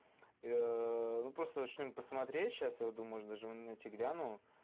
ну просто начнём посмотреть сейчас я думаю даже на тебе гляну